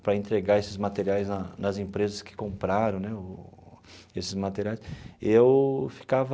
para entregar esses materiais na nas empresas que compraram né o esses materiais, eu ficava...